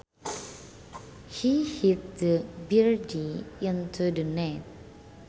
He hit the birdie into the net